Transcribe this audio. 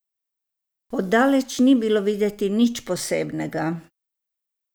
Od daleč ni bilo videti nič posebnega.